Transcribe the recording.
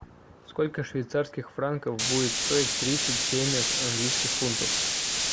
сколько швейцарских франков будет стоить тридцать семь английских фунтов